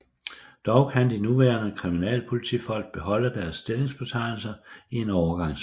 Dog kan de nuværende kriminalpolitifolk beholde deres stillingsbetegnelser i en overgangsfase